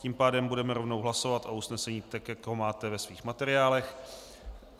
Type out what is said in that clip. Tím pádem budeme rovnou hlasovat o usnesení, tak jak ho máte ve svých materiálech.